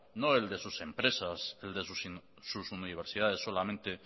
no el de sus empresas ni el de sus universidades solamente